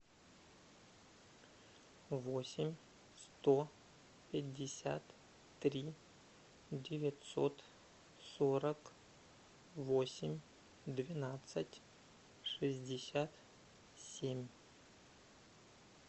восемь сто пятьдесят три девятьсот сорок восемь двенадцать шестьдесят семь